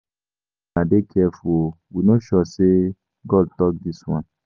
Make una dey careful o, we no sure sey na God tok dis one.